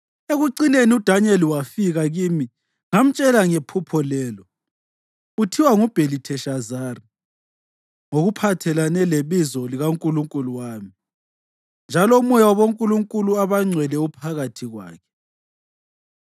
Ekucineni uDanyeli wafika kimi ngamtshela ngephupho lelo. (Uthiwa nguBhelitheshazari, ngokuphathelene lebizo likankulunkulu wami, njalo umoya wabonkulunkulu abangcwele uphakathi kwakhe.)